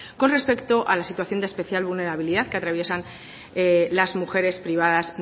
con respecto a la situación de especial vulnerabilidad que atraviesan las mujeres privadas